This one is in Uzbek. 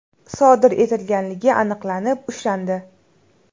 sodir etganligi aniqlanib, ushlandi.